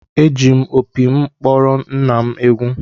Eji m opi m kpọrọ nna m egwu